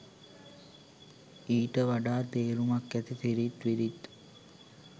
ඊට වඩා තේරුමක් ඇති සිරිත් විරිත්